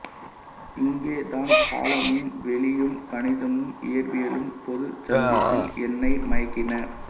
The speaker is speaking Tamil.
இங்கே தான் காலமும் வெளியும் கணிதமும் இயற்பியலும் பொதுச் சந்திப்பில் என்னை மயக்கின